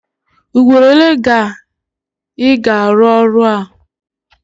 Ugboro ole ga Ị ga-arụ ụlọ a?